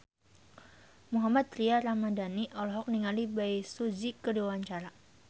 Mohammad Tria Ramadhani olohok ningali Bae Su Ji keur diwawancara